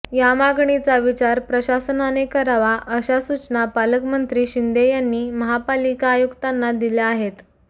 या मागणीचा विचार प्रशासनाने करावा अशा सूचना पालकमंत्री शिंदे यांनी महापालिका आयुक्तांना दिल्या आहेत